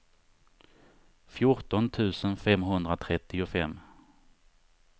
fjorton tusen femhundratrettiofem